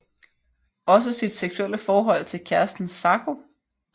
Også sit seksuelle forhold til kæresten Zako